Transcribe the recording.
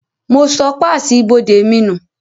Mo sọ páàsì ibodè mi nù